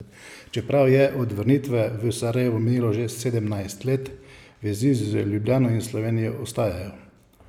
Čeprav je od vrnitve v Sarajevo minilo že sedemnajst let, vezi z Ljubljano in Slovenijo ostajajo.